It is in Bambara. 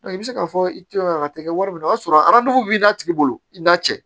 i bɛ se k'a fɔ i tɛ a tɛ kɛ wari minɛ o y'a sɔrɔ a b'i n'a tigi bolo i n'a cɛ